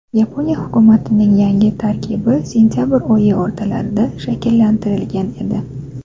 Yaponiya hukumatining yangi tarkibi sentabr oyi o‘rtalarida shakllantirilgan edi.